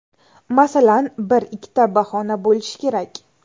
Masalan, bir, ikkita bahona bo‘lishi kerak.